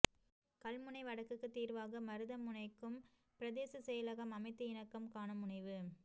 கல்முனை வடக்குக்கு தீர்வாக மருதமுனைக்கும் பிரதேச செயலகம் அமைத்து இணக்கம் காண முனைவு